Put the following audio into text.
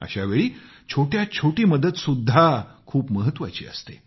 अशावेळी छोट्यात छोटी मदतही खूप महत्वाची असते